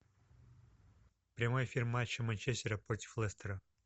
прямой эфир матча манчестера против лестера